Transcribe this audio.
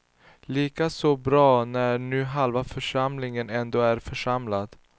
Lika så bra när nu halva församlingen ändå är församlad.